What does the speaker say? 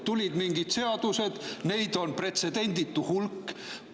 Tulid mingid seadused, neid on pretsedenditu hulk.